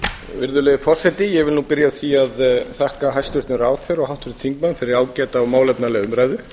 virðulegi forseti ég vil byrja á því að þakka hæstvirtum ráðherra og háttvirtum þingmönnum fyrir ágæta og málefnalega umræðu